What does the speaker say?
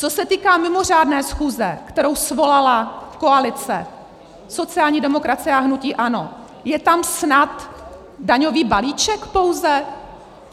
Co se týká mimořádné schůze, kterou svolala koalice sociální demokracie a hnutí ANO, je tam snad daňový balíček pouze?